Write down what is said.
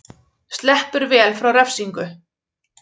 Sleppur vel frá refsingu